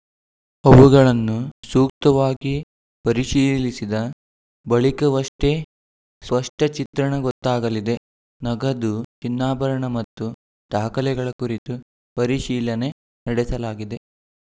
ಅವುಗಳನ್ನು ಸೂಕ್ತವಾಗಿ ಪರಿಶೀಲಿಸಿದ ಬಳಿಕವಷ್ಟೇ ಸ್ಪಷ್ಟಚಿತ್ರಣ ಗೊತ್ತಾಗಲಿದೆ ನಗದು ಚಿನ್ನಾಭರಣ ಮತ್ತು ದಾಖಲೆಗಳ ಕುರಿತು ಪರಿಶೀಲನೆ ನಡೆಸಲಾಗಿದೆ